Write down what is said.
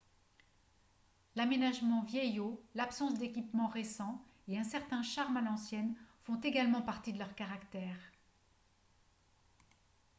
l'aménagement vieillot l'absence d'équipements récents et un certain charme à l'ancienne font également partie de leur caractère